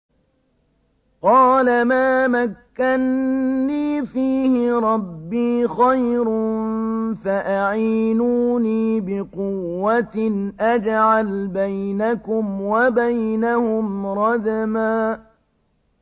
قَالَ مَا مَكَّنِّي فِيهِ رَبِّي خَيْرٌ فَأَعِينُونِي بِقُوَّةٍ أَجْعَلْ بَيْنَكُمْ وَبَيْنَهُمْ رَدْمًا